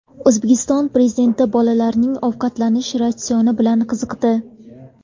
O‘zbekiston Prezidenti bolalarning ovqatlanish ratsioni bilan qiziqdi.